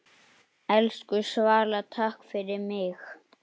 Elsku Svala, takk fyrir mig.